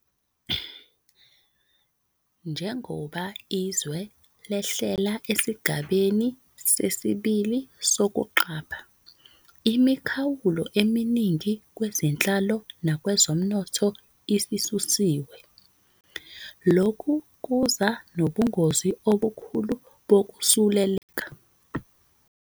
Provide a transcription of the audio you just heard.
Njengoba izwe lehlela esigabeni sesi-2 sokuqapha, imikhawulo eminingi kwezenhlalo nakwezomnotho isisusiwe. Lokhu kuza nobungozi obukhulu bokusuleleka.